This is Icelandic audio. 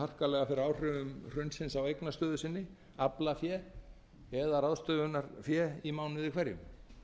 harkalega fyrir áhrifum hrunsins á eignastöðu sinni aflafé eða ráðstöfunarfé í mánuði hverjum